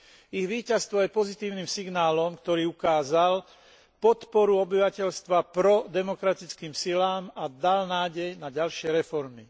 Ich víťazstvo je pozitívnym signálom, ktorý ukázal podporu obyvateľstva prodemokratickým silám a dal nádej na ďalšie reformy.